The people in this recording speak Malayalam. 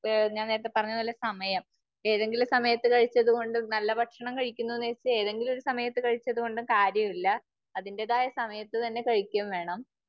ഞാൻ നേരത്തെ പറഞ്ഞത് പോലെ സമയം ഏതെങ്കിലും സമയത്ത് കഴിച്ചതു കൊണ്ട്, നല്ല ഭക്ഷണം കഴിക്കുന്നു എന്ന് വച്ച് ഏതെങ്കിലും ഒരു സമയത്ത് കഴിച്ചത് കൊണ്ട് കാര്യമില്ല. അതിന്റേതായ സമയത്ത് തന്നെ കഴിക്കെം വേണം.